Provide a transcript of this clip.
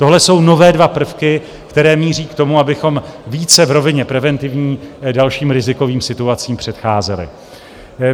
Tohle jsou nové dva prvky, které míří k tomu, abychom více v rovině preventivní dalším rizikovým situacím předcházeli.